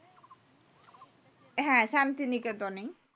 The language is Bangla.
হ্যাঁ শান্তিনিকেতন এই